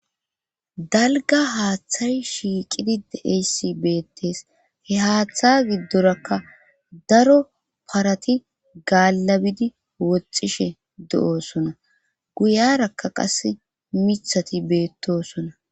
dalga haaththay shiiqidi de'iyays beettees. he haaththa giddorakka daro parati gaallabidi woxxishe do'oosona. guyarakka qas miththati beettosona.